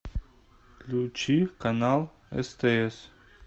включи канал стс